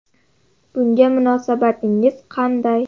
Bunga munosabatingiz qanday?